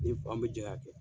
Ni n fa an bɛ jɛ ka kɛ.